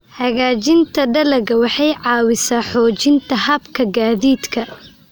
Hagaajinta dalagga waxay caawisaa xoojinta hababka gaadiidka.